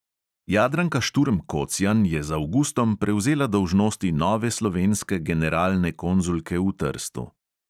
Jadranka šturm kocjan je z avgustom prevzela dolžnosti nove slovenske generalne konzulke v trstu.